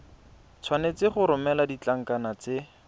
tshwanetse go romela ditlankana tse